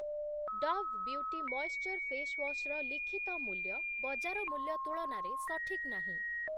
Dove beauty moisture face wash ର ଲିଖିତ ମୂଲ୍ୟ ବଜାର ମୂଲ୍ୟ ତୁଳନାରେ ସଠିକ୍ ନାହିଁ ।